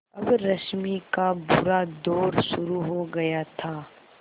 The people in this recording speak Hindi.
अब रश्मि का बुरा दौर शुरू हो गया था